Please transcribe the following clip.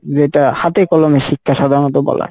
যেটা হাতে কলমে শিক্ষা সাধারণত বলা